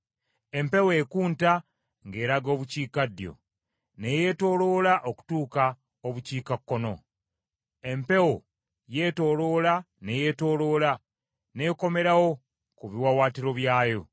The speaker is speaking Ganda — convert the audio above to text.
Empewo ekunta ng’eraga obukiikaddyo, ne yeetooloola okutuuka obukiikakkono; empewo yeetooloola ne yeetooloola, n’ekomerawo ku biwaawaatiro byayo.